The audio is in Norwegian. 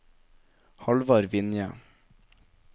Hallvard Vinje